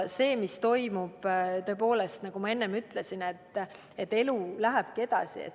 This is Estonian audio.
See, mis toimub – tõepoolest, nagu ma enne ütlesin, elu läheb edasi.